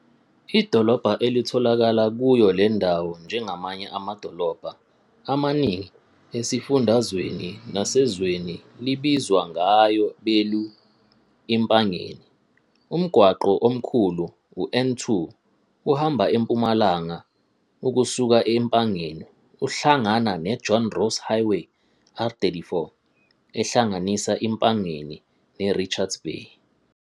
Idolobha elitholakala kuyo le ndawo njengamanye amadolobha amaningi esifundazweni nasezweni libizwa ngayo belu iMpangeni. Umgwaqo omkhulu u-N2 uhamba empumalanga ukusuka e-Empangeni uhlangana ne-John Ross Highway, R34, ehlanganisa iMpangeni neRichards Bay.